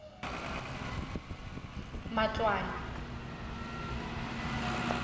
matloane